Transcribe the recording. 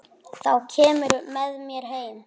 Þá kemurðu með mér heim.